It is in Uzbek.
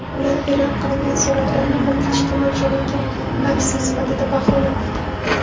Ular e’lon qilingan suratlarni qo‘rqitishga mo‘ljallangan aksiya sifatida baholamoqda.